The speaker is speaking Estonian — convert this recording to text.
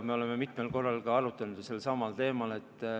Me oleme mitmel korral arutanud ka sellelsamal teemal.